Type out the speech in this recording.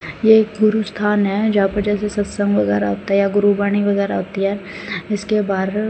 ये एक गुरु स्थान है जहां पे जैसे सत्संग वगैरा होता है या गुरु वाणी वगैरा होती है इसके बार --